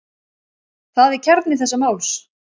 Það er kjarni þessa máls.